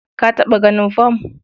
Ka taɓa ganin fam.